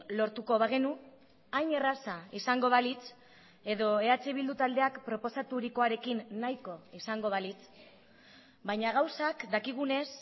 lortuko bagenu hain erraza izango balitz edo eh bildu taldeak proposaturikoarekin nahiko izango balitz baina gauzak dakigunez